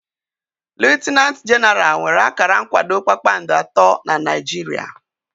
Liutinanti jenaral nwere akara nkwado kpakpando atọ na Naijiria